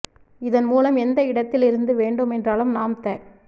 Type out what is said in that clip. இதன் மூலம் எந்த இடத்தில் இருந்து வேண்டும் என்றாலும் நாம் த